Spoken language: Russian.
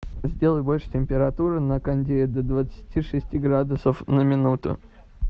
сделай больше температуру на кондее до двадцати шести градусов на минуту